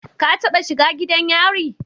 Ka taba shiga gidan yari?